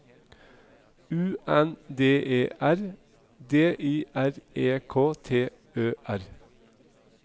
U N D E R D I R E K T Ø R